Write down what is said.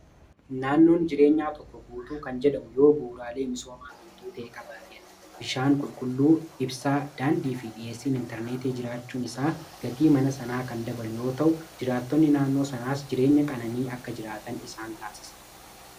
Naannoon jireenyaa tokko guutuu kan jedhamu yoo buuraalee misoomawwan guutuu ta'e qabaateedha. Bishaan qulqulluu, ibsaa, daandi fi dhiheessiin intarneetii jiraachuun isaa gatii mana sanaa kan dabalu yoo ta'u jiraatonni naannoo sanaas jireenya qananii akka jiraatan isaan taasisa.